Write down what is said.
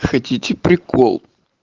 хотите прикол